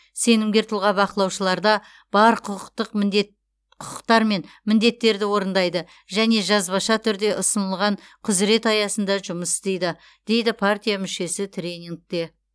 сенімгер тұлға бақылаушыларда бар құқықтық міндет құқықтар мен міндеттерді орындайды және жазбаша түрде ұсынылған құзірет аясында жұмыс істейді дейді партия мүшесі тренингте